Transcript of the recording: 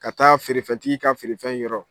Ka taa feerefɛntigi ka feerefɛn yɔrɔ.